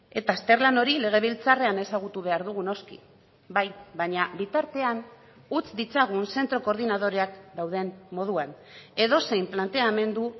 eta azterlan hori legebiltzarrean ezagutu behar dugu noski bai baina bitartean utz ditzagun zentro koordinadoreak dauden moduan edozein planteamendu